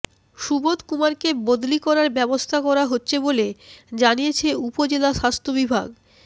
সুবোধ কুমারকে বদলি করার ব্যবস্থা করা হচ্ছে বলে জানিয়েছে উপজেলা স্বাস্থ্য বিভাগ